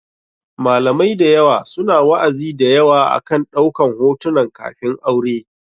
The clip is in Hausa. Malamai da yawa su na wa'azi da yawa akan ɗaukan hotunan kafin aure.